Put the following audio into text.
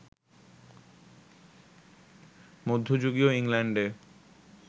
মধ্যযুগীয় ইংল্যান্ডে